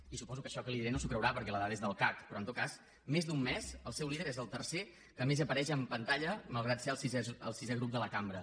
i suposo que això que li diré no s’ho creurà perquè la dada és del cac però en tot cas més d’un mes el seu líder és el tercer que més apareix en pantalla malgrat ser el sisè grup de la cambra